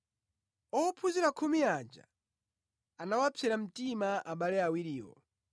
Ophunzira khumi aja, anawapsera mtima abale awiriwo.